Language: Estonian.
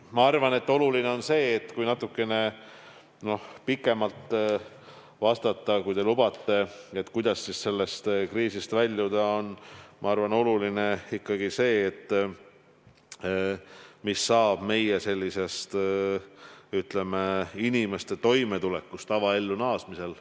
Ma arvan, et kriisist väljumisel on oluline see – vastan natuke pikemalt, kui te lubate –, mis saab meie inimeste toimetulekust tavaellu naasmisel.